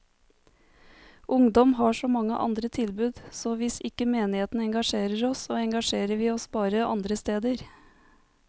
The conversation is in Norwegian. Ungdom har så mange andre tilbud, så hvis ikke menigheten engasjerer oss, så engasjerer vi oss bare andre steder.